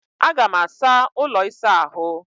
Aga m asa ụlọ ịsa ahụ